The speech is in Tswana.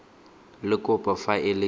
le kopo fa e le